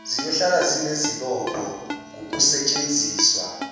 ziyohlale zinesibopho ngokusetshenziswa